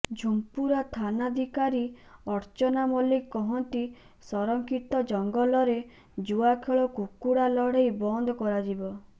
ଝୁମ୍ପୁରା ଥାନାଧିକାରୀ ଅର୍ଚ୍ଚନା ମଲ୍ଲିକ କହନ୍ତି ସଂରକ୍ଷିତ ଜଙ୍ଗଲରେ ଜୁଆଖେଳ କୁକୁଡା ଲଢ଼େଇ ବନ୍ଦ କରାଯିବ